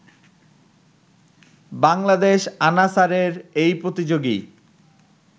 বাংলাদেশ আনাসারের এই প্রতিযোগী